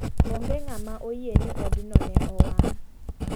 Ong'e ng'ama oyie ni od no ne owang'.